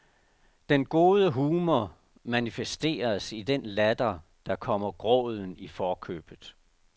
Den gode humor manifesteres i den latter, der kommer gråden i forkøbet.